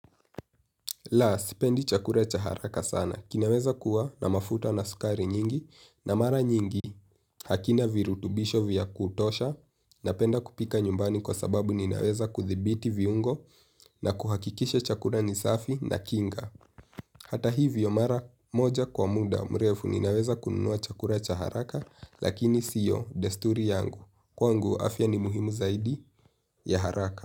La, sipendi chakula cha haraka sana. Inaweza kuwa na mafuta na sukari nyingi na mara nyingi hakina virutubisho vya kutosha napenda kupika nyumbani kwa sababu naweza kudhibiti viungo na kuhakikisha chakula ni safi na kinga. Hata hivyo mara moja kwa muda mrefu ninaweza kununua chakula cha haraka lakini sio desturi yangu. Kwangu afya ni muhimu zaidi ya haraka.